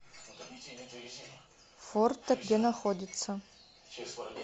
форте где находится